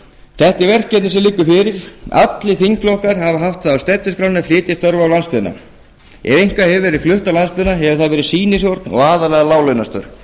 þetta eru verkefni sem liggja fyrir allir þingflokkar hafa haft það á stefnuskránni að flytja störf á landsbyggðina ef eitthvað hefur verið flutt á landsbyggðina hefur það verið sýnishorn og aðallega láglaunastörf